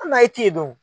Hali n'a ye t'i don